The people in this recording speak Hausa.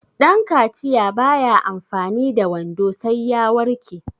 dankaciya ba ya amfani da wando sai ya warke